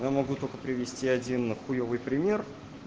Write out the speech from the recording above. я могу только привести один хуёвый пример